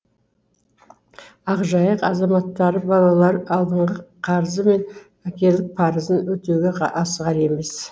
ақжайық азаматтары балалар алдынғы қарзы мен әке парзы өтеуге асығар емес